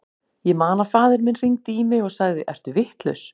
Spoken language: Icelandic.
Ég man að faðir minn hringdi í mig og sagði, ertu vitlaus?